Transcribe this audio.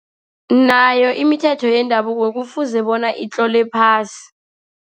Nayo imithetho yendabuko kufuze bona itlolwe phasi.